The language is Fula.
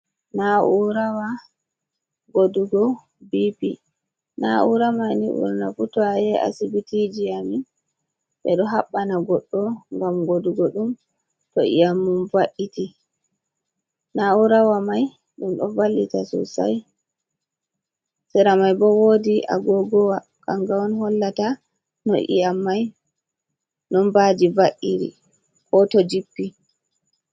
Na'urawa godugo bipi na'uraman ni burana fu to ayehi asibitiji amin be do habbana goddo gam godugo dum to iyam mum va’iti. Na'urawa mai dum do vallita sossai sera mai bo wodi agogowa kanga on hollata no iyam mai nombaji va’iri ko to jippi.